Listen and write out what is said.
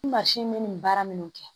Ni mansin bɛ nin baara minnu kɛ